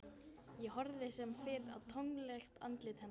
Ég horfði sem fyrr í tómlegt andlit hennar.